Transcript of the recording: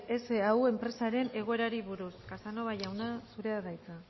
sau enpresaren egoerari buruz casanova jauna zurea da hitza